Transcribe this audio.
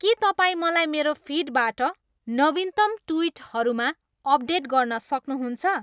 के तपाईँ मलाई मेरो फिडबाट नवीनतम ट्विटहरूमा अपडेट गर्न सक्नुहुन्छ